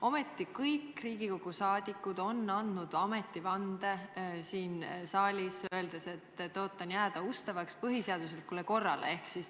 Aga kõik Riigikogu liikmed on siin saalis andnud ametivande, öeldes "tõotan jääda ustavaks põhiseaduslikule korrale".